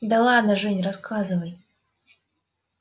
да ладно жень рассказывай